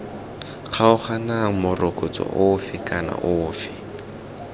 kgaoganang morokotso ofe kana ofe